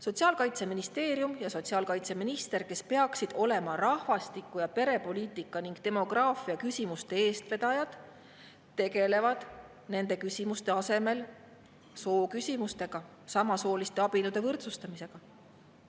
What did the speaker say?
Sotsiaalministeerium ja sotsiaalkaitseminister, kes peaksid olema rahvastiku‑ ja perepoliitika ning demograafiaküsimuste eestvedajad, tegelevad nende küsimuste asemel sooküsimustega, samasooliste abielude võrdsustamisega.